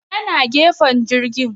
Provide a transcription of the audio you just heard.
Ya na gefen jirgin